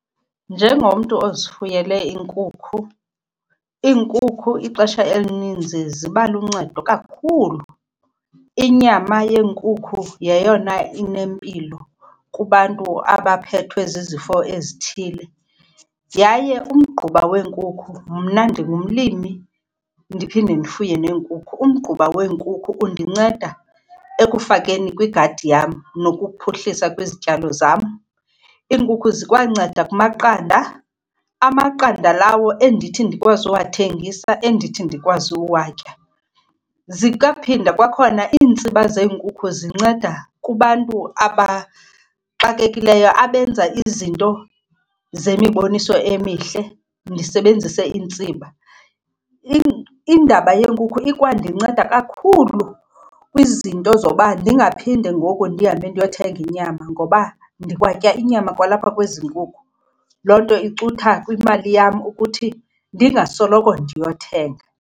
Njengomntu ozifuyele iinkukhu, iinkukhu ixesha elininzi ziba luncedo kakhulu. Inyama yenkukhu yeyona inempilo kubantu abaphethwe zizifo ezithile, yaye umgquba weenkukhu. Mna ndingumlimi ndiphinde ndifuye neenkukhu, umgquba wenkukhu undinceda ekufakeni kwigadi yam nokuphuhlisa kwizityalo zam. Iinkukhu zikwanceda kumaqanda. Amaqanda lawo endithi ndikwazi uwathengisa, endithi ndikwazi uwatya. Zikaphinda kwakhona, iintsiba zeenkuku zinceda kubantu abaxakekileyo abenza izinto zemiboniso emihle ndisebenzise iintsiba. Indaba yeenkukhu iyandinceda kakhulu kwizinto zoba ndingaphinde ngoku ndihambe ndiyothenga inyama ngoba ndikwatya inyama kwalapha kwezi nkukhu. Loo nto icutha kwimali yam ukuthi ndingasoloko ndiyothenga.